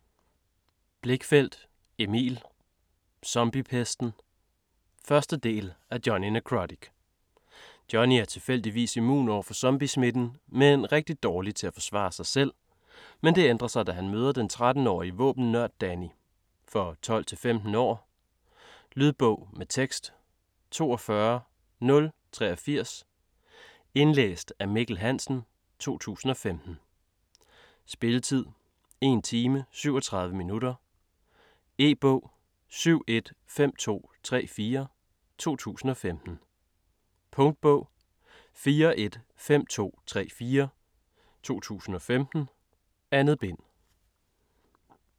Blichfeldt, Emil: Zombiepesten 1. del af Jonny Nekrotic. Jonny er tilfældigvis immun overfor zombiesmitten, men rigtig dårlig til at forsvare sig selv, men det ændrer sig da han møder den 13-årige våben-nørd Danny. For 12-15 år. Lydbog med tekst 42083 Indlæst af Mikkel Hansen, 2015. Spilletid: 1 time, 37 minutter. E-bog 715234 2015. Punktbog 415234 2015. 2 bind.